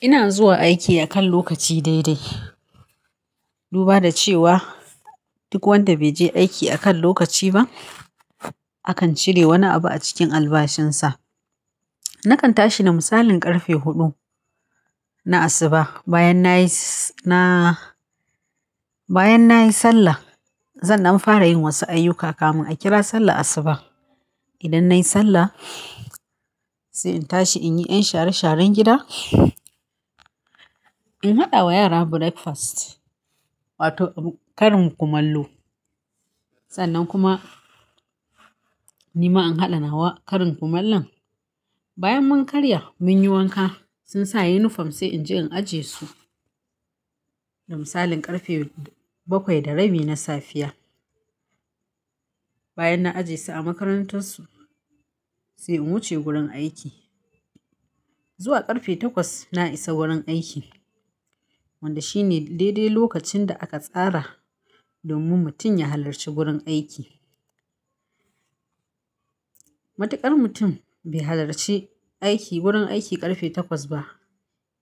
Ina zuwa aiki akan lokaci dai dai. Duba da cewa duk wanda bai je aiki akan lokaci ba akan cire wani abu a cikin albashinsa. Nakan tashi na misali ƙarfe huɗu na asuba bayan nayi s-- na bayan nayi Sallah sannan an fara yin wasu ayyuka kamun a kira sallar asuba. Idan nayi Sallah sai in tashi in yi ƴan share sharan gida, in haɗa wa yara breakfast wato karin kumallo. Sannan kuma ni ma in haɗa na wa karin kumallon. Bayan mun karya mun yi wanka sun sa uniform sai in je in ajiye su da misalin ƙarfe bakwai da rabi na safiya. Bayan na ajiye su a makarantar su sai in wuce gurin aiki. Zuwa ƙarfe takwas na isa wurin aiki wanda shine daidai lokacin da aka tsara domin mutum ya halarci gurin aiki. Matuƙar mutum bai halarci aiki wurin aiki ƙarfe takwas ba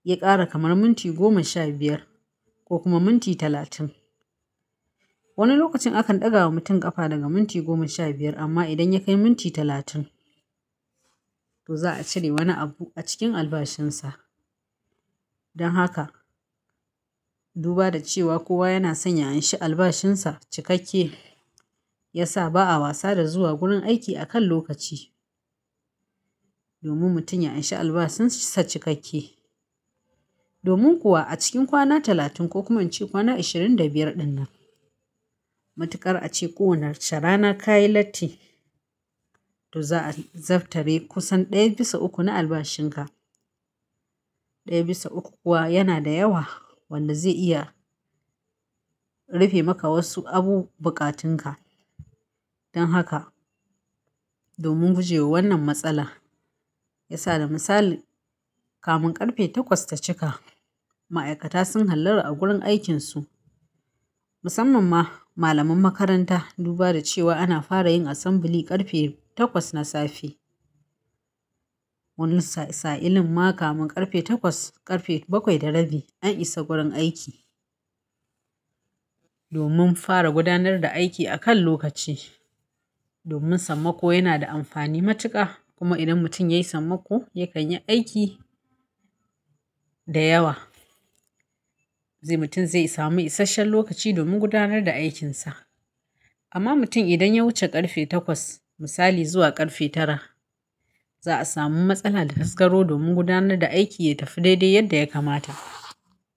ya ƙara kamar minti goma sha biyar ko kuma minti talatin. Wani lokacin akan ɗaga wa mutum ƙafa daga minti goma sha biyar amma idan ya kai minti talatin to za a cire wani abu a cikin albashinsa. Dan haka duba da cewa kowa yana son ya anshi albashinsa cikakke ya sa ba a wasa da zuwa gurin aiki akan lokaci. Domin mutum ya anshi albashinsa cikakke. Domin kuwa a cikin kwana talatin ko kuma inci kwana ashirin da biyar dinnan matuƙar a ce ko wace rana ka yi latti to za a zabtare kusan ɗaya bisa uku na albashin ka. Ɗaya bisa uku kuwa yana da yawa wanda zai iya rufe maka wasu abu buƙatun ka. Dan haka domin guje wa wannan matsala ya sa da misali kamun ƙarfe takwas ta cika ma'aikata sun hallara a gurin aikin su. Musamman ma malaman makaranta duba da cewa ana fara yin assembly ƙarfe takwas na safe. Wannan sa-sa'ilin ma kamun ƙarfe takwas ƙarfe bakwai da rabi an isa gurin aiki. Domin fara gudanar da aiki akan lokaci. Domin sammako yana da amfani matuƙa kuma idan mutum yayi sammako yakan yi aiki da yawa. Sai mutum zai samu isashen lokaci domin gudanar da aikinsa. Amma mutum idan ya wuce ƙarfe takwas misali zuwa ƙarfe tara za a samu matsala da haskaro domin gudanar da aiki ya tafi daidai yadda ya kamata.